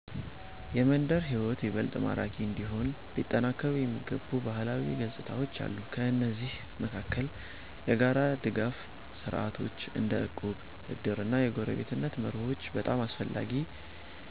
የመንደር ሕይወት ይበልጥ ማራኪ እንዲሆን ሊጠናከሩ የሚገቡ ባህላዊ ገጽታዎች አሉ። ከእነዚህ መካከል የጋራ ድጋፍ ስርዓቶች እንደ እቁብ፣ እድር እና የጎረቤትነት መርሆች በጣም አስፈላጊ